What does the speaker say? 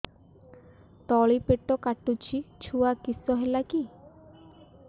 ତଳିପେଟ କାଟୁଚି ଛୁଆ କିଶ ହେଲା କି